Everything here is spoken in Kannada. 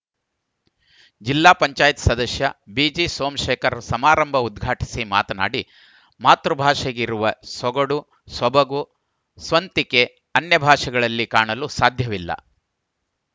ಜಿಲ್ಲಾ ಪಂಚಾಯಿತಿ ಸದಸ್ಯ ಬಿಜಿ ಸೋಮಶೇಖರ್‌ ಸಮಾರಂಭ ಉದ್ಘಾಟಿಸಿ ಮಾತನಾಡಿ ಮಾತೃಭಾಷೆಗಿರುವ ಸೊಗಡು ಸೊಬಗು ಸ್ವಂತಿಕೆ ಅನ್ಯಭಾಷೆಗಳಲ್ಲಿ ಕಾಣಲು ಸಾಧ್ಯವಿಲ್ಲ